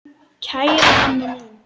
Kæra amma mín.